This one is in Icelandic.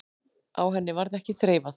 Á henni varð ekki þreifað.